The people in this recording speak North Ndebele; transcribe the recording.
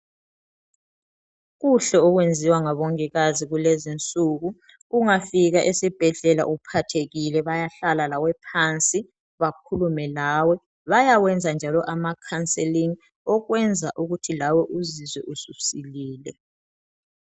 Kuhle okwenziwa ngabongikazi kulezinsuku. Ungafika esibhedlela uphathekile bayahlala lawe phansi bakhulume lawe. Bayawenza njalo amacounselling okwenza ukuthi lawe uzizwe ususilile.